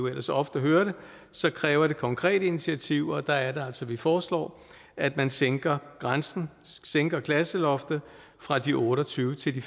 ellers ofte hører det så kræver det konkrete initiativer og der er det altså vi foreslår at man sænker grænsen sænker klasseloftet fra de otte og tyve til de